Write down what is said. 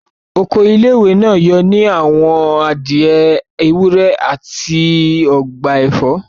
Oko ilé-ìwé náà yóò ní àwọn adìẹ, ewúr, àti ọgbà ẹ̀fọ́